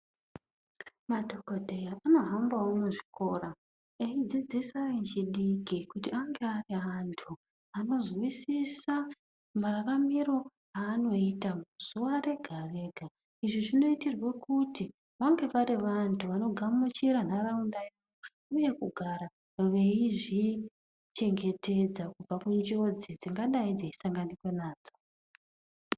Madhokodheya anohambawo muzvikora eidzidzisa echidiki kuti ange ari anthu anozwisisa mararamiro aanoita zuwa rega rega. Izvi zvinoitirwa kuti vange vari vanthu vanogamuchira ntharaunda uye kugara veizvichengetedza kubva kunjodzi dzingadai dzeisanganwika nadzo.